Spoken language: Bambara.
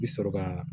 I bi sɔrɔ ka